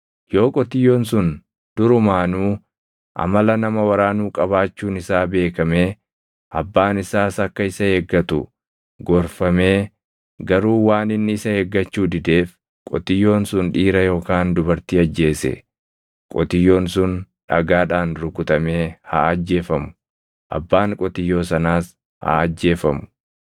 Yoo qotiyyoon sun durumaanuu amala nama waraanuu qabaachuun isaa beekamee abbaan isaas akka isa eeggatu gorfamee garuu waan inni isa eeggachuu dideef qotiyyoon sun dhiira yookaan dubartii ajjeese, qotiyyoon sun dhagaadhaan rukutamee haa ajjeefamu; abbaan qotiyyoo sanaas haa ajjeefamu.